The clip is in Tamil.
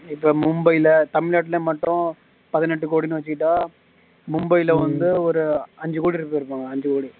இப்ப மும்பைல தமிழ்நாட்டுல மட்டும் பதினெண்டு கோடின்னு வச்சிட்டா மும்பைல வந்து ஒரு அஞ்சு கோடி பேரு இருப்பாங்க அஞ்சு கோடி